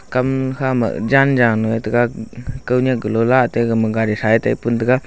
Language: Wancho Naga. kam kha ma jan jang nyu ye tega kau nyaki galo la atey gadi tha ye pun tega.